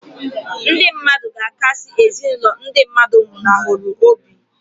Ndị mmadụ ga-akasi ezinụlọ ndị mmadụ nwụnahụrụ obi.